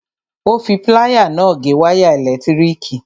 Ó fi pláyà náà gé wáyà ẹ̀lẹ̀tíríkì.